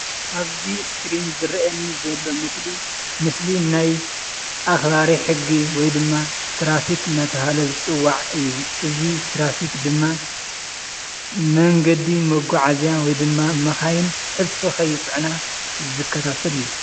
ኣብዚ ስክሪን ዝርአየኒ ዘሎ ምስሊ ምስሊ ናይ ኣኽባሪ ሕጊ ወይ ድማ ትራፊክ እናተባህለ ዝፅዋዕ እዩ፡፡ እዚ ትራፊክ ድማ መንገዲ መጓዓዝያ ወይ ድማ መኻይን ሕልፊ ከይፅዕና ዝከታተል እዩ፡፡